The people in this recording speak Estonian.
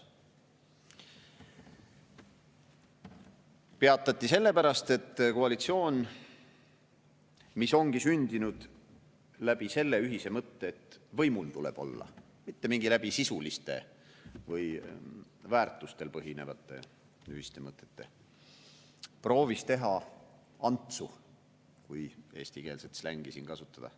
See peatati sellepärast, et koalitsioon, mis ongi sündinud läbi selle ühise mõtte, et võimul tuleb olla, mitte läbi sisuliste või väärtustel põhinevate ühiste mõtete, proovis teha Antsu, kui eestikeelset slängi kasutada.